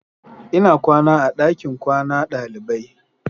Ina kwana a dakin kwana dalibai.